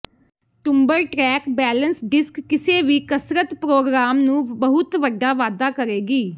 tumble track balance disc ਕਿਸੇ ਵੀ ਕਸਰਤ ਪ੍ਰੋਗਰਾਮ ਨੂੰ ਬਹੁਤ ਵੱਡਾ ਵਾਧਾ ਕਰੇਗੀ